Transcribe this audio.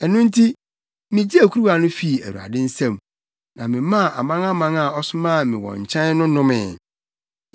Ɛno nti, migyee kuruwa no fii Awurade nsam, na memaa amanaman a ɔsomaa me wɔn nkyɛn no nomee: